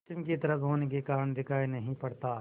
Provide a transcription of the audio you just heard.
पश्चिम की तरफ होने के कारण दिखाई नहीं पड़ता